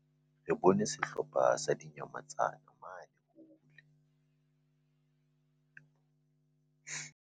Re bone sehlopha sa dinyamatsane mane.